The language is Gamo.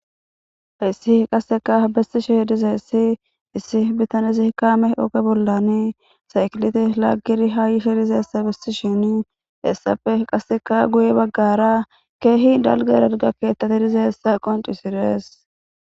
Hayssi qasseka besishe dizayssi issi bittanezikka ooge bollani saykileta laaggidii ha yishshe dizayssa bessishini hessappe qasseka guye baggara keehi dalgga dalgga keettati dizayssa qoncises